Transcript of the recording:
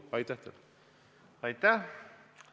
Aitäh!